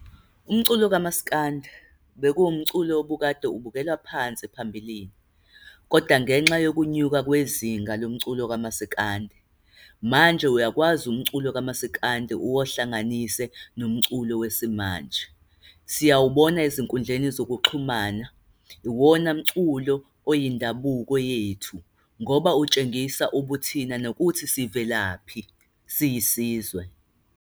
Umculo kamasikandi bekuwumculo obukade ubukelwa phansi phambilini. Kodwa ngenxa yokunyuka kwezinga lomculo kamasikandi, manje uyakwazi umculo kamasikandi uwahlanganise nomculo wesimanje. Siyawubona ezinkundleni zokuxhumana. Iwona mculo oyindabuko yethu, ngoba utshengisa ubuthina nokuthi sivelaphi, siyisizwe.